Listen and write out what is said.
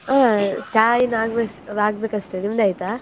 ಹಾ, ಚಾ ಇನ್ನು ಆಗ್ಬೇಸ್~ ಆಗ್ಬೇಕಷ್ಟೆ, ನಿಮ್ದಾಯ್ತಾ?